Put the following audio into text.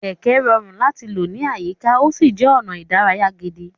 Kẹ̀kẹ́ rọrùn láti lò ní àyíká, ó sì jẹ́ ọ̀nà ìdárayá gidi.